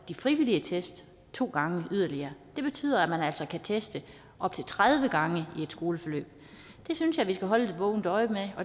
de frivillige test to gange yderligere det betyder at man kan teste op til tredive gange i et skoleforløb det synes jeg vi skal holde et vågent øje med